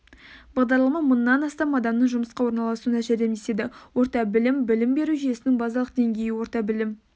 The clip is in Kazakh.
бағдарлама мыңнан астам адамның жұмысқа орналасуына жәрдемдеседі орта білім білім беру жүйесінің базалық деңгейі орта білім